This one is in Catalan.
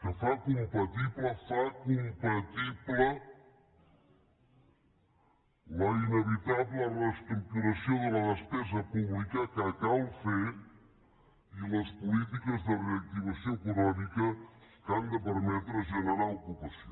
que fa compatible fa compatible la inevitable reestructuració de la despesa pública que cal fer i les polítiques de reactivació econòmica que han de permetre generar ocupació